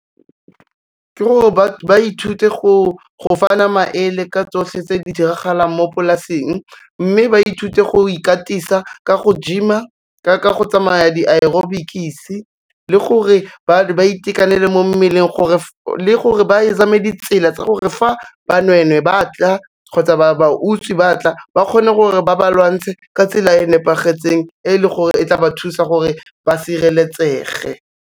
Ke gore ba ithute go fana maele ka tsotlhe tse di diragalang mo polaseng, mme ba ithute go ikatisa ka go gym-a ka go tsamaya di-aerobics-e le gore ba itekanele mo mmeleng le gore ba zame ditsela tsa gore fa banwenwe ba tla kgotsa ba utswi batla, ba kgone gore ba ba lwantshe ka tsela e nepagetseng e leng gore e tla ba thusa gore ba sireletsege.